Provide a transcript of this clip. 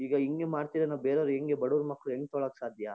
ಈಗ ಹಿಂಗೆ ಮಾಡ್ತಾ ಇದ್ರೆ ನಾವು ಬೇರೆಯವರು ಹೆಂಗೆ ಬಡವ್ರ್ ಮಕ್ಕಳು ಹೆಂಗ್ ತಗೊಳ್ಳೋಕ್ ಸಾಧ್ಯ?